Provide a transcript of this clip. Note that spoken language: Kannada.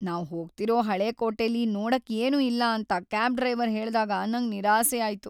ನಾವ್ ಹೋಗ್ತಿರೋ ಹಳೆ ಕೋಟೆಲಿ ನೋಡಕ್ ಏನೂ ಇಲ್ಲ ಅಂತ ಕ್ಯಾಬ್ ಡ್ರೈವರ್ ಹೇಳ್ದಾಗ ನಂಗ್ ನಿರಾಸೆ ಆಯ್ತು.